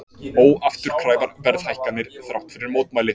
Óafturkræfar verðhækkanir þrátt fyrir mótmæli